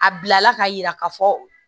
A bilala ka yira ka fɔ